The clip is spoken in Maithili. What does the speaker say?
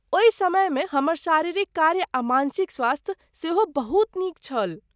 ओहि समयमे हमर शारीरिक कार्य आ मानसिक स्वास्थ्य सेहो बहुत नीक छल।